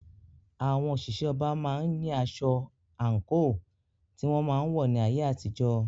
Àwọn òṣìṣẹ́ ọba máa ń ní aṣọ/àǹkò tí wọ́n máa ń wọ̀ ní ayé àtijó.